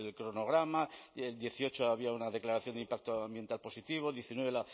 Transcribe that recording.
cronograma en dos mil dieciocho había una declaración de impacto ambiental positiva en dos mil diecinueve